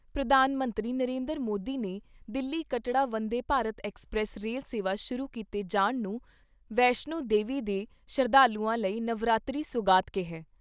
ਪ੍ਰਧਾਨ ਮੰਤਰੀ ਨਰਿੰਦਰ ਮੋਦੀ ਨੇ ਦਿੱਲੀ ਕੱਟੜਾ ਵੰਦੇ ਭਾਰਤ ਐੱਕਸਪ੍ਰੈਸ ਰੇਲ ਸੇਵਾ ਸ਼ੁਰੂ ਕੀਤੇ ਜਾਣ ਨੂੰ ਵੈਸ਼ਨੋ ਦੇਵੀ ਦੇ ਸ਼ਰਧਾਲੂਆਂ ਲਈ ਨਵਰਾਤਰੀ ਸੁਗਾਤ ਕਿਹਾ ।